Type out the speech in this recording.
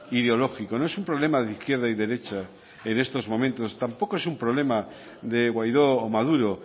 ideológico no es un problema de izquierda y derecha en esto momentos tampoco es un problema de guaidó o maduro